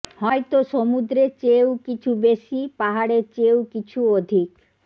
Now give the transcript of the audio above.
হয়তো সমুদ্রের চেয়েও কিছু বেশি পাহাড়ের চেয়েও কিছু অধিক